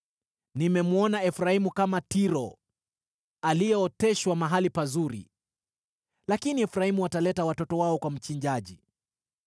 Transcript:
Nimemwona Efraimu, kama Tiro, aliyeoteshwa mahali pazuri. Lakini Efraimu wataleta watoto wao kwa mchinjaji.”